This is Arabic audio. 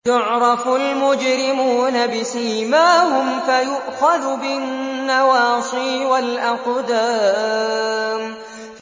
يُعْرَفُ الْمُجْرِمُونَ بِسِيمَاهُمْ فَيُؤْخَذُ بِالنَّوَاصِي وَالْأَقْدَامِ